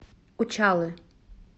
учалы